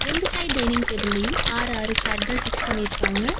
ரெண்டு side dining டேபிளையும் ஆறு ஆறு சேர்கள் ஃபிக்ஸ் பண்ணிருக்காங்க.